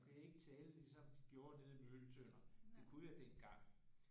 Nu kan jeg ikke tale ligesom de gjorde nede i Møgeltønder det kunne jeg dengang